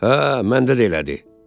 Hə, məndə də elədir.